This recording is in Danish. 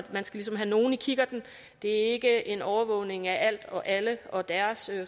man skal ligesom have nogle i kikkerten det er ikke en overvågning af alt og alle og deres